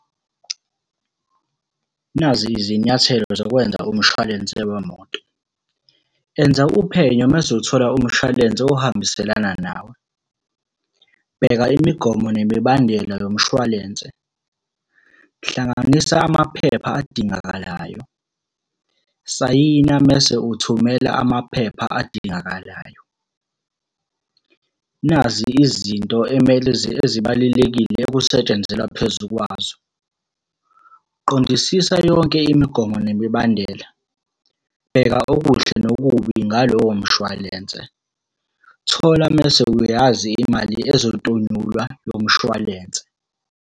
Nazi izinyathelo zokwenza umshwalense wemoto. Enza uphenyo mese uthola umshwalense ohambiselana nawe. Bheka imigomo nemibandela yomshwalense. Hlanganisa amaphepha adingakalayo, sayina mese uthumela amaphepha adingakalayo. Nazi izinto emele ezibalulekile ekusetshenzelwa phezu kwazo. Qondisisa yonke imigomo nemibandela. Bheka okuhle nokubi ngalowo mshwalense. Thola mese uyazi imali ezotonyulwa yomshwalense.